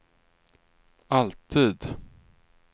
alltid